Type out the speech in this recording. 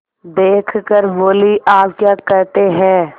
देख कर बोलीआप क्या कहते हैं